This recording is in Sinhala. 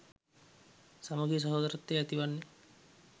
සමගිය සහෝදරත්වය ඇති වන්නේ.